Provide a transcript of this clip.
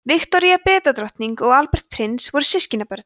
viktoría bretadrottning og albert prins voru systkinabörn